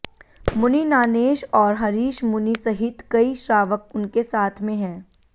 मुनि नानेश और हरीश मुनि सहित कई श्रावक उनके साथ में हैं